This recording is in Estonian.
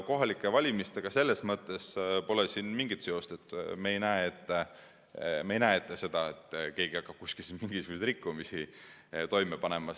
Kohalike valimistega selles mõttes pole siin mingit seost, et me ei näe ette seda, et keegi hakkab kusagil mingisuguseid rikkumisi toime panema.